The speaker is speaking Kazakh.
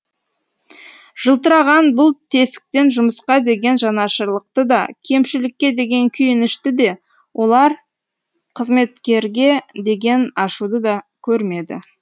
жылтыраған бұл тесіктен жұмысқа деген жанашырлықты да кемшілікке деген күйінішті де олақ қызметкерге деген ашуды да көрмеді